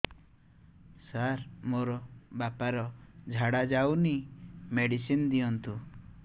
ସାର ମୋର ବାପା ର ଝାଡା ଯାଉନି ମେଡିସିନ ଦିଅନ୍ତୁ